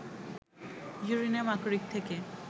uranium আকরিক থেকে